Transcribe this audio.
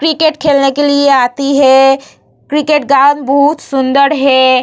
Cricket खेलने के लिए ये आती है किकेट ग्राउंड बहुत सुंदर हे ।